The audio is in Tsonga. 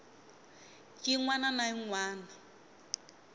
yin wana na yin wana